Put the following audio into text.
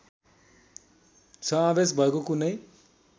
समावेश भएको कुनै